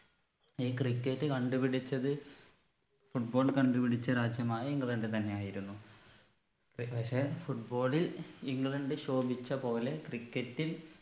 ഈ cricket കണ്ടുപിടിച്ചത് football കണ്ടുപിടിച്ച രാജ്യമായ ഇംഗ്ലണ്ട് തന്നെയായിരുന്നു ഏർ പക്ഷെ football ൽ ഇംഗ്ലണ്ട് ശോഭിച്ച പോലെ cricket ൽ